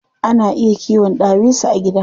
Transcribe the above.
Ana iya kiwon ɗawisu a gida.